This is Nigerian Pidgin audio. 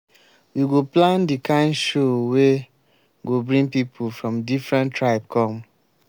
we go plan di kind show wey go bring pipu from different tribe come.